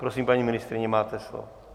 Prosím, paní ministryně, máte slovo.